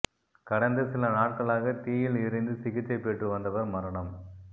கடந்த சில நாட்களாக தீயில் எரிந்து சிகிச்சை பெற்று வந்தவர் மரணம்